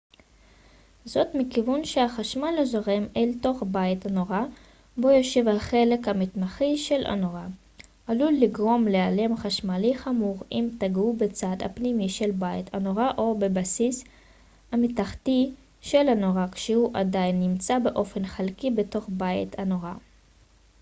זאת מכיוון שהחשמל הזורם אל תוך בית הנורה בו יושב החלק המתכתי של הנורה עלול לגרום להלם חשמלי חמור אם תגעו בצד הפנימי של בית הנורה או בבסיס המתכתי של הנורה כשהוא עדיין נמצא באופן חלקי בתוך בית הנורה